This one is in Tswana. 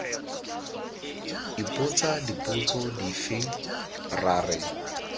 ipotsa dipotso dife ra re